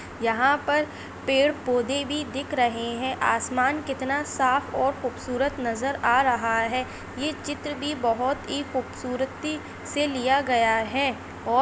यहाँ पर पेड़ पौधे भी दिख रहे है आसमान किता साफ़ और खुबसुरत नजर आ रहा है ये चित्र भी बहुत ही खूबसूरती से लिया गया है।